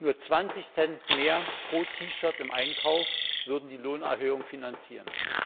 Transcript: Nur 20 Cent mehr pro T Shirt im Einkauf würden die Lohnerhöhung finanzieren.